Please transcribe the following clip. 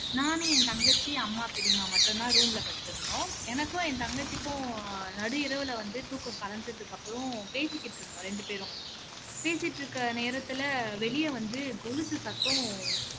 நான் என் தங்கச்சி அம்மா பெரியம்மா மட்டும் தான் room ல படுத்துருந்தோம் எனக்கும் என் தங்கச்சிக்கும் நடு இரவுல வந்து தூக்கம் கலஞ்சதுக்கு அப்பறம் பேசிக்கிட்டு இருந்தோம் ரெண்டு பேரும் பேசிட்டு இருக்க நேரத்துல வெளிய வந்து கொலுசு சத்தம்